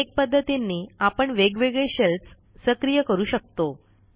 अनेक पध्दतींनी आपण वेगवेगळे शेल्स सक्रिय करू शकतो